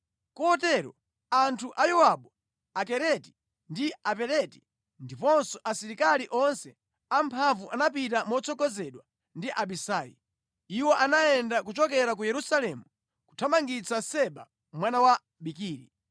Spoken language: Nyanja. Kotero anthu a Yowabu, Akereti ndi Apeleti ndiponso asilikali onse amphamvu anapita motsogozedwa ndi Abisai. Iwo anayenda kuchokera ku Yerusalemu kuthamangitsa Seba mwana wa Bikiri.